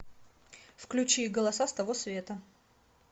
включи голоса с того света